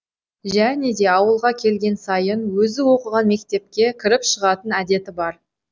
және де ауылға келген сайын өзі оқыған мектепке кіріп шығатын әдеті бар